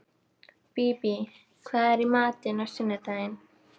Bíbí, hvað er í matinn á sunnudaginn?